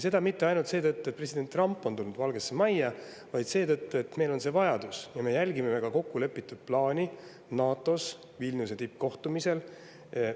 Seda mitte ainult seetõttu, et president Trump on tulnud Valgesse Majja, vaid seetõttu, et meil on see vajadus ja me jälgime NATO Vilniuse tippkohtumisel kokkulepitud plaani.